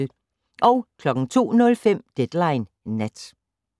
02:05: Deadline Nat